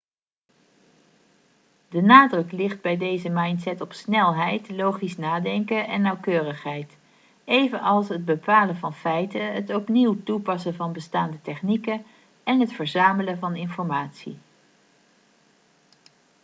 de nadruk ligt bij deze mindset op snelheid logisch nadenken en nauwkeurigheid evenals het bepalen van feiten het opnieuw toepassen van bestaande technieken en het verzamelen van informatie